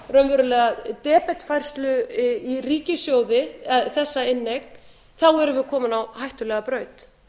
raunverulega debetfærslu í ríkissjóði þessa inneign þá erum við komin á hættulega braut